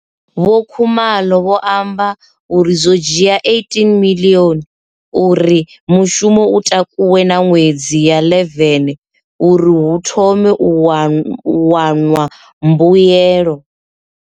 Vho Khumalo vho amba uri zwo dzhia R18 miḽioni uri mushumo u takuwe na miṅwedzi ya 11 uri hu thome u wanwa mbuelo.